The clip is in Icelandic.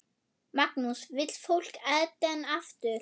Magnús: Vill fólk Eden aftur?